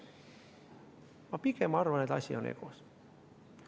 Ma pigem arvan, et asi on egos.